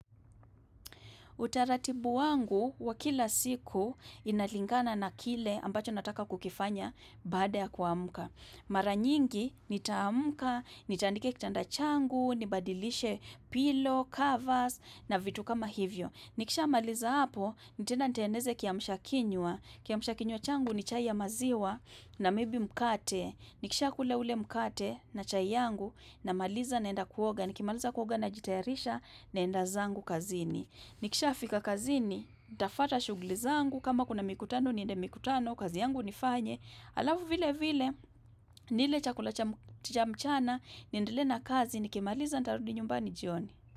Utaratibu wangu wa kila siku inalingana na kile ambacho nataka kukifanya baada ya kuamka. Mara nyingi nitaamka, nitandike kitanda changu, nibadilishe pillow, covers na vitu kama hivyo. Nikishamaliza hapo, nitaenda nitengeneze kiamshakinywa. Kiamshakinywa changu ni chai ya maziwa na maybe mkate. Nikishakula ule mkate na chai yangu namaliza naenda kuoga. Nikimaliza kuoga najitayarisha naenda zangu kazini. Nikishafika kazini, ntafuata shughuli zangu, kama kuna mikutano niende mikutano, kazi yangu nifanye. Alafu vile vile, nile chakula cha mchana, nindelee na kazi, nikimaliza nitarudi nyumbani jioni.